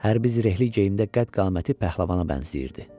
Hərbi zirehli geyimdə qəd-qaməti pəhləvana bənzəyirdi.